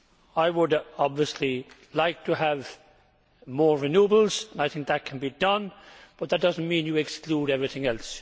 I would obviously like to have more renewables and I think that can be done, but that does not mean the exclusion of everything else.